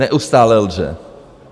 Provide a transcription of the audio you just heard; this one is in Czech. Neustále lže!